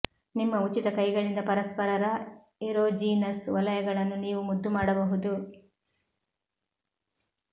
ನಿಮ್ಮ ಉಚಿತ ಕೈಗಳಿಂದ ಪರಸ್ಪರರ ಎರೋಜೀನಸ್ ವಲಯಗಳನ್ನು ನೀವು ಮುದ್ದು ಮಾಡಬಹುದು